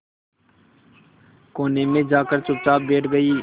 कोने में जाकर चुपचाप बैठ गई